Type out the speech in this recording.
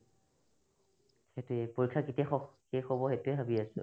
সেটোয়ে পৰীক্ষা কেতিয়া শষ শেষ হ'ব সেটোয়ে ভাৱি আছো